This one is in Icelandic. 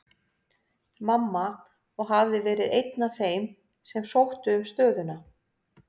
Mamma, og hafði verið einn af þeim sem sóttu um stöðuna.